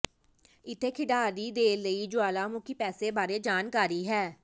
ਇੱਥੇ ਖਿਡਾਰੀ ਦੇ ਲਈ ਜੁਆਲਾਮੁਖੀ ਪੈਸੇ ਬਾਰੇ ਜਾਣਕਾਰੀ ਹੈ